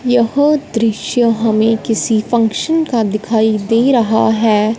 यह दृश्य हमें किसी फंक्शन का दिखाई दे रहा है।